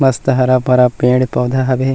मस्त हरा-भरा पेड़-पौधा हावे।